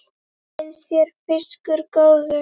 Finnst þér fiskur góður?